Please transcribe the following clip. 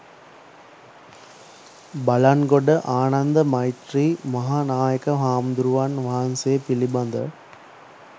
බළන්ගොඩ ආනන්ද මෛත්‍රෙය මහා නායක හාමුදුරුවන් වහන්සේ පිළිබඳ